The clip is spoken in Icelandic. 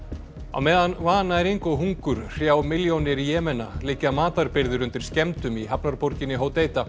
á meðan vannæring og hungur hrjá milljónir liggja matarbirgðir undir skemmdum í hafnarborginni